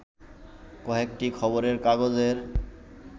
কয়েকটি খবরের কাগজের